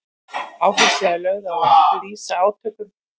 Áhersla er lögð á að lýsa átökum fylkinga fremur en einstaklingum.